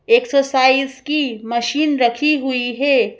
Exercise की machine रखी हुई है।